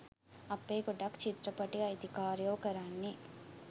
අපේ ගොඩක් චිත්‍රපටි අයිිතිකාරයො කරන්නේ